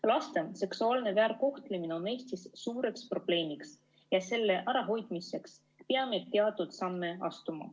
Laste seksuaalne väärkohtlemine on Eestis suur probleem ja selle ärahoidmiseks peame teatud samme astuma.